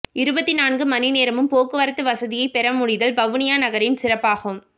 இருபத்து நான்கு மணிநேரமும் போக்குவரத்து வசதியை பெற முடிதல் வவுனியா நகரின் சிறப்பாகும்